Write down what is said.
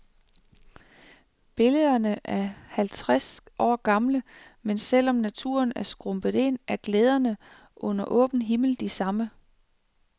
Billederne er halvtreds år gamle, men selv om naturen er skrumpet ind, er glæderne under åben himmel de samme.